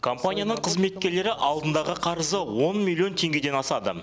компанияның қызметкерлері алдындағы қарызы он миллион теңгеден асады